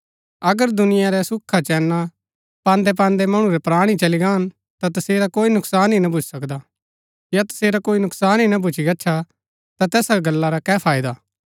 अगर दुनिया रै सुखाचैना पान्दैपान्दै मणु रै प्राण ही चली गाहन या तसेरा कोई नुकसान ही भूच्ची गच्छा ता तैसा गल्ला रा कै फायदा